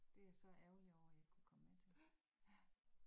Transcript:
Det jeg så ærgerlig over jeg ikke kunne komme med til. Ja